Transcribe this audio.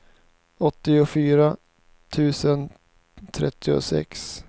åttiofyra tusen trettiosex